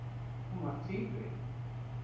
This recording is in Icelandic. Hún var tvíburi.